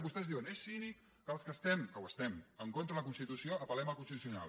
vostès diuen és cínic que els que estem que ho estem en contra de la constitució apel·lem al constitucional